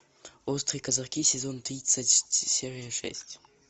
острые козырьки сезон тридцать серия шесть